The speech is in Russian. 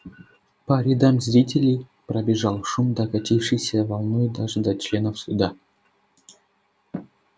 по рядам зрителей пробежал шум докатившийся волной даже до членов суда